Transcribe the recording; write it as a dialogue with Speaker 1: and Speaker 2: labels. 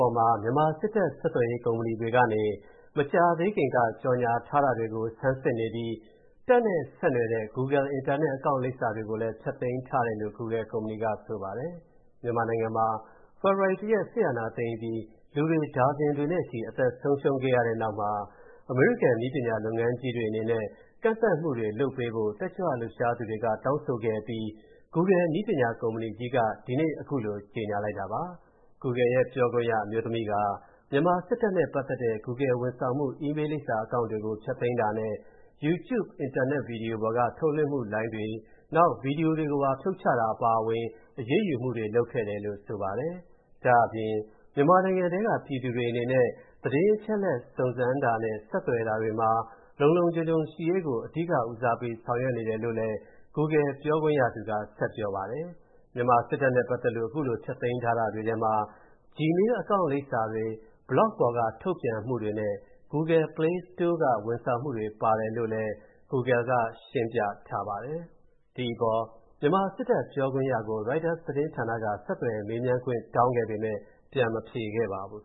Speaker 1: ေါ်မှာ မြန်မာစစ်တပ်ဆက်သွယ်ရေး ကုမ္ပဏီတွေကနေ မကြာသေးခင်က ကြော်ငြာထားတာတွေကို ဆန်းစစ်နေပြီး တပ်နဲ့ ဆက်နွယ်တဲ့ Google အင်တာနက် Account လိပ်စာတွေကိုလည်း ဖျက်သိမ်းထားတယ်လို့ Google ကုမ္ပဏီကဆိုပါတယ်။ မြန်မာနိုင်ငံမှာ ဖေဖော်ဝါရီ ၁ ရက် စစ်အာဏာသိမ်းအပြီး လူတွေဒါဇင်တွေနဲ့ချီ အသက်ဆုံးရှုံးခဲ့ရတဲ့နောက်မှာ အမေရိကန်နည်းပညာလုပ်ငန်းတွေအနေနဲ့ ကန့်သတ်မှုတွေ လုပ်ပေးဖို့ တက်ကြွလူပ်ရှားသူတွေက တောင်းဆိုခဲ့အပြီး Google နည်းပညာကုမ္ပဏီကြီးက ဒီနေ့ အခုလိုကြေညာလိုက်တာပါ။ Google ရဲ့ ပြောခွင့်ရအမျိုးသမီးက မြန်မာစစ်တပ်နဲ့ ပတ်သက်တဲ့ Google ဝန်ဆောင်မှု Email လိပ်စာ Accounts တွေ ဖျက်သိမ်းတာနဲ့ YouTube အင်တာနက်ဗီဒီယိုပေါ်က ထုတ်လွှင့်မှုလိုင်းတွေနဲ့ ဗီဒီယိုတွေကို ဖြုတ်ချတာအပါအဝင် အရေးယူမှုတွေ လုပ်ခဲ့တယ်လို့ ဆိုပါတယ်။ ဒါ့အပြင် မြန်မာနိုင်ငံထဲက ပြည်သူတွေအနေနဲ့ သတင်းအချက်အလက်တွေ စုံစမ်းတာနဲ့ ဆက်သွယ်တာတွေမှာ လုံလုံခြုံခြုံရှိရေးကို အဓိကဦးစားပေး ဆောင်ရွက်နေတယ်လို့ Google ပြောခွင့်ရသူက ဆက်ပြောပါတယ်။ မြန်မာစစ်တပ်နဲ့ပတ်သက်လို့ အခုဖျက်သိမ်းထားတာတွေထဲမှာ Gmail Account လိပ်စာတွေ Blog ပေါ်က ထုတ်ပြန်မှုတွေနဲ့ Google Play Store က ဝန်ဆောင်မှုတွေပါတယ်လို့ Google က ရှင်းပြထားပါတယ်။ ဒီအပေါ် မြန်မာစစ်တပ်ပြောခွင့်ရကို Reuters သတင်းဌာနက ဆက်သွယ်မေးမြန်းခွင့်တောင်းခဲ့ပေမဲ့ ပြန်မဖြေခဲ့ပါဘူး